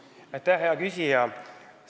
Aitäh, hea küsija!